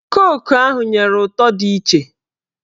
Koku ahụ nyere ụtọ dị iche